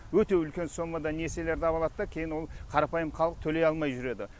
өте үлкен соммада несиелерді авалады да кейін ол қарапайым халық төлей алмай жүреді